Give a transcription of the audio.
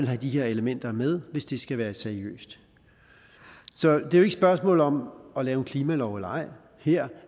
have de her elementer med hvis det skal være seriøst så det er et spørgsmål om at lave en klimalov eller ej her